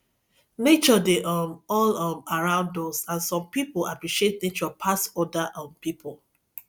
nature dey um all um around us and some pipo appreciate nature pass oda um pipo